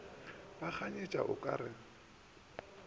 ba kganyetša o ka re